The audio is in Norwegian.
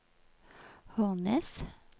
Hornnes